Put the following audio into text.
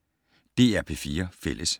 DR P4 Fælles